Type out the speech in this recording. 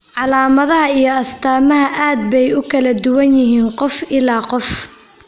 Calaamadaha iyo astaamaha aad bay ugu kala duwan yihiin qof ilaa qof.